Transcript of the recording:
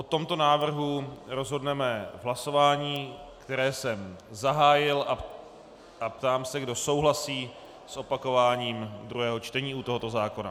O tomto návrhu rozhodneme v hlasování, které jsem zahájil, a ptám se, kdo souhlasí s opakováním druhého čtení u tohoto zákona.